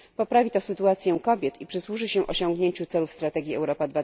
Poprawi to sytuację kobiet i przysłuży się osiągnięciu celów strategii Europa